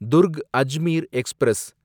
Durg Ajmer express